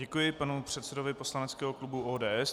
Děkuji panu předsedovi poslaneckého klubu ODS.